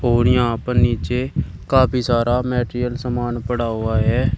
और यहां पर नीचे काफी सारा मटेरियल सामान पड़ा हुआ है।